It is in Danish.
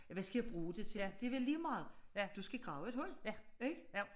Ja hvad skal jeg bruge det til det er da lige meget du skal grave et hul ik